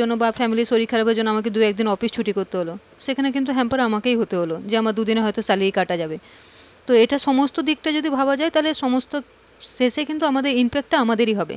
জন্য বা family শরীর খারাপের জন্য আমাকে দু একদিন অফিস ছুটি করতে হলো সেখানে কিন্তু hamper আমাকেই হতে হলো যে হয়তো দুদিন আমার salary কাটা যাবে তো সমস্ত দিকটা যদি ভাবা যাই তাহলে সমস্ত শেষে কিন্তু impact তা আমাদের এ হবে,